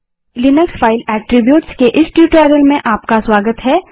Linux file attribute के इस tutorial में आपका स्वागत है